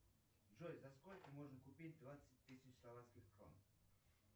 джой за сколько можно купить двадцать тысяч словацких крон